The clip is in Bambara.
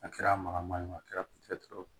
A kɛra maga man ye a kɛra